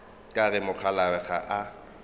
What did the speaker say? ka re mokgalabje ga a